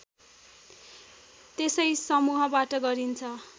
त्यसै समूहबाट गरिन्छ